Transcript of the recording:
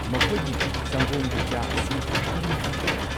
ꯃꯈꯣꯏꯒꯤ ꯁꯪꯒꯣꯝꯒꯤ ꯆꯥ ꯑꯁꯤ ꯀꯔꯝ ꯇꯧꯕꯒꯦ?